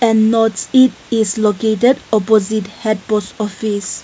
a north seat is located opposite head post office.